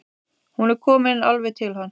Hún er komin alveg til hans.